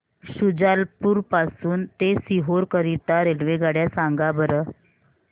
शुजालपुर पासून ते सीहोर करीता रेल्वेगाड्या सांगा बरं